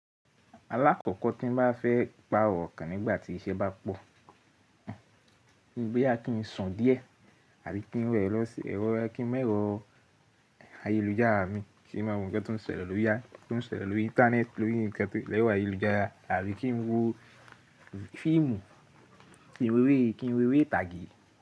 Alákọ̀kọ́ tí n bá fẹ́ pa ọkàn nígbàtí iṣẹ́ bá pọ̀, bóyá á kí n sùn díẹ̀ àbí kí n mu ẹ́ro, kí n mu ẹ̀rọ ayélujára mi, kí n má wo ǹkan tó ń ṣẹ̀lẹ̀ lórí ẹ, tó n ń ṣẹ̀lẹ̀ lórí íńtánẹ́ẹ̀tì, lórí nǹkan tó ṣẹlẹ̀ lórí ayélujára àbí kí n wo fíìmù, kí n wo eré, kí n wo eré ìtàgé.